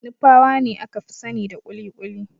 Nupawa ne aka fi sanida kuli-kuli.